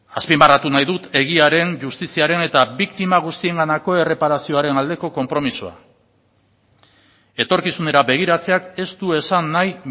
azpimarratu nahi dut egiaren justiziaren eta biktima guztienganako erreparazioaren aldeko konpromisoa etorkizunera begiratzeak ez du esan nahi